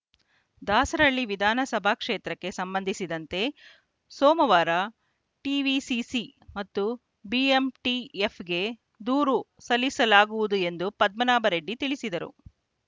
ದಾಸರಹಳ್ಳಿ ವಿಧಾನ ಸಭಾ ಕ್ಷೇತ್ರಕ್ಕೆ ಸಂಬಂಧಿಸಿದರಂತೆ ಸೋಮವಾರ ಟಿವಿಸಿಸಿ ಮತ್ತು ಬಿಎಂಟಿಎಫ್‌ಗೆ ದೂರು ಸಲ್ಲಿಸಲಾಗುವುದು ಎಂದು ಪದ್ಮನಾಭ ರೆಡ್ಡಿ ತಿಳಿಸಿದರು